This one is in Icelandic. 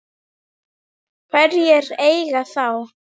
Hverjir eiga þá?